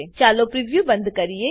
ચાલો પ્રિવ્યુ બંધ કરીએ